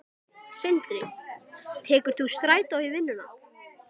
Sindri: Tekur þú strætó í vinnuna?